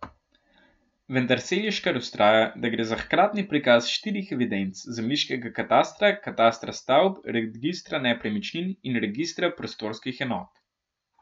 Vendar Seliškar vztraja, da gre za hkratni prikaz štirih evidenc, zemljiškega katastra, katastra stavb, registra nepremičnin in registra prostorskih enot.